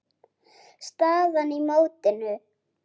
Staðan í mótinu